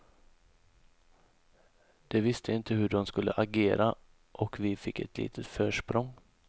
De visste inte hur de skulle agera och vi fick ett litet försprång.